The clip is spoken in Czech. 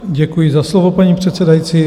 Děkuji za slovo, paní předsedající.